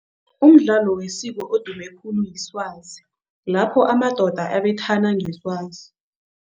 Umdlalo wesiko odume khulu iswazi, lapho amadoda abethana ngeswazi.